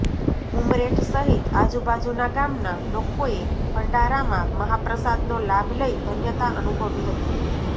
ઉમરેઠ સહીત આજૂબાજૂના ગામના લોકોએ ભંડારામાં મહાપ્રસાદનો લાભ લઈ ધન્યતા અનુભવી હતી